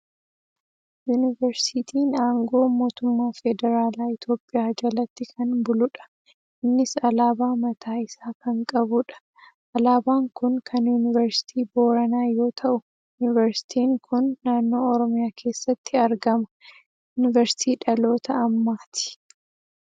Yuuniversiitiin aangoo Mootummaa Federaalaa Itoophiyaa jalatti kan buludha. Innis alaabaa mataa isaa kan qabudha. Alaabaan kun kan Yuuniversitii Booranaa yoo ta'u, yuuniversiitiin kun naannoo Oromiyaa keessatti argama. Yuunicersiitii dhaloota ammaa ti.